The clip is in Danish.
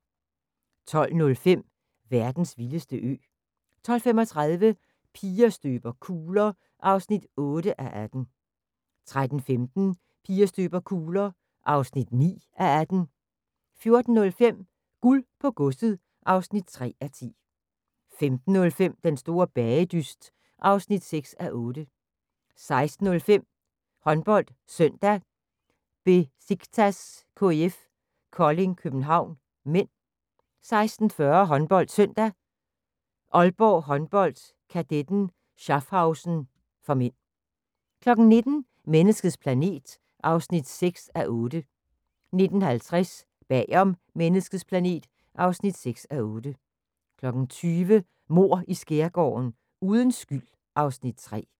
12:05: Verdens vildeste ø 12:35: Piger støber kugler (8:18) 13:15: Piger støber kugler (9:18) 14:05: Guld på godset (3:10) 15:05: Den store bagedyst (6:8) 16:05: HåndboldSøndag: Besiktas-KIF Kolding København (m) 16:40: HåndboldSøndag: Aalborg Håndbold-Kadetten Schaffhausen (m) 19:00: Menneskets planet (6:8) 19:50: Bag om menneskets planet (6:8) 20:00: Mord i Skærgården: Uden skyld (Afs. 3)